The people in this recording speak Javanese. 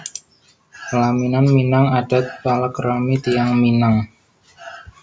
Pelaminan Minang adat palakrami tiyang Minang